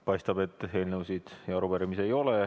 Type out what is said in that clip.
Paistab, et rohkem eelnõusid ja arupärimisi ei ole.